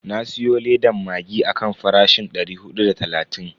Na siyo ledan maggi akan farashin dari hudu da talatin.